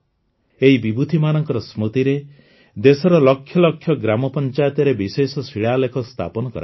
ଏହି ବିଭୂତିମାନଙ୍କ ସ୍ମୃତିରେ ଦେଶର ଲକ୍ଷ ଲକ୍ଷ ଗ୍ରାମପଞ୍ଚାୟତରେ ବିଶେଷ ଶିଳାଲେଖ ସ୍ଥାପନ କରାଯିବ